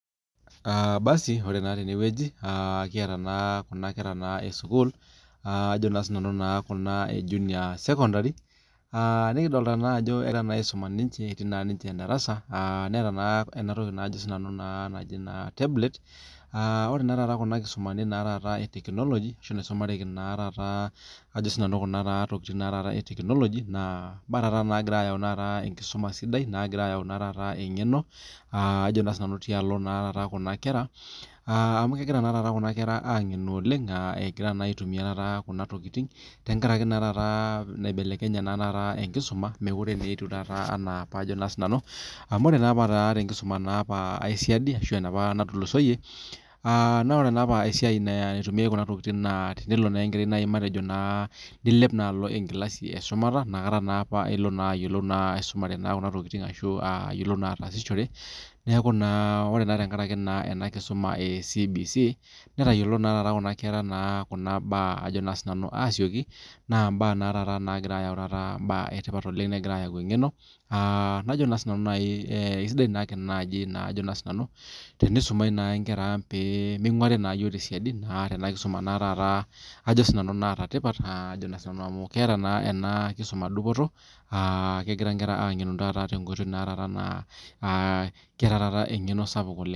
Ore naa tenewueji kiata Kuna kera esukuul Kuna ee junior sekondari nikidolita naa Ajo egira aisuma ninche etii darasa etaa enatoki najo tablet ore naa taata Kuna kisumaitin[etekinoloji ashu nisumareki Kuna tokitin etekinoloji naa mbaa naagira ayau mbaa sidan mbaa nagiraa ayau eng'eno tialo naa taata Kuna kera amu kegira naa taata Kuna kera ang'enu oleng egira aitumia Kuna tokitin tenkaraki nibelekenye enkisuma mekure etieu enaa apa amu ore naa apa tenkisuma esidai ashu enapa natulusoyie naa ore apa esiai naitumiai Kuna tokitin naa tenelo apa enkerai matejo nilep alo enkilasi eshumata ena kata elo naa ayiolou aisumare Kuna tokitin ashu ayiolou atasishore neeku naa ore tenkaraki ena kisuma ee CBC netayiolo naa taata Kuna kera Kuna mbaa asioki naa mbaa nagira ayau mbaa etipat oleng negira ayau eng'eno naajo naa naaji sinanu esidai naaji tenisumi Nkera ang pee minguarii naa eyiok tesiadi naa Tena kisuma nataa tipat amu ketaa nA ena kisuma dupoto kegira enkera ang'enu taata tenkoitoi keeta taata eng'eno sapuk oleng